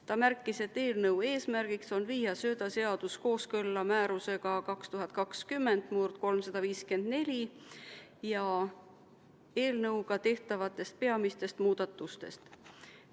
Ta märkis, et eelnõu eesmärk on viia söödaseadus kooskõlla määrusega 2020/354, ja rääkis eelnõuga tehtavatest peamistest muudatustest.